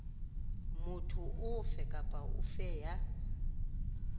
motho ofe kapa ofe ya